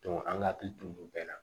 an ka hakili to nin bɛɛ la